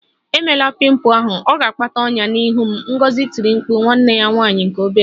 Emela pimple ahụ! Ọ ga-akpata ọnyá n'ihu m, Ngozi tiri mkpu nwanne ya nwanyị nke obere